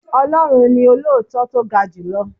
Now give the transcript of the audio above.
Ọlọ́run ni olóòótọ́ tó ga julọ.